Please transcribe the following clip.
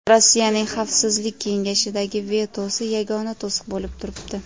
Rossiyaning Xavfsizlik kengashidagi vetosi yagona to‘siq bo‘lib turibdi.